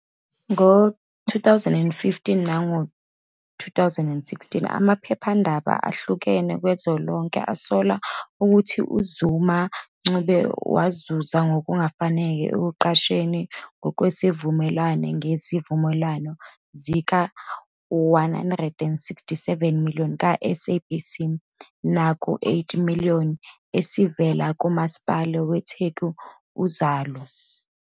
Ngo-2015 nango-2016, amaphephandaba ahlukene kazwelonke asola ukuthi uZuma Ncube wazuza ngokungafanele ekuqashweni ngokwezivumelwano ngezivumelwano zika-R167million kwaSABC nakuR8million esivela kuMasipala weTheku u- "Uzalo".